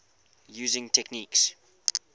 using techniques